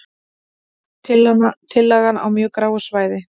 Tillagan á mjög gráu svæði